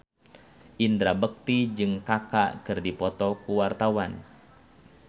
Indra Bekti jeung Kaka keur dipoto ku wartawan